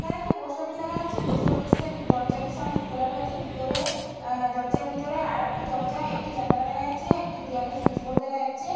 এইখানে একটি post office দেখা যাচ্ছে। পোস্ট অফিস - এর দরজাটি সামনে খোলা রয়েছে। ভিতরে আ দরজার ভিতরে আর একটি দরজা একটি জানালা দেখা যাচ্ছে। একটি দেওয়ালে সুইচ বোর্ড দেখা যাচ্ছে ।